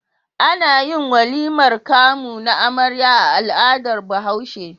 Anayin walimar kamu na amarya a al'adar bahaushe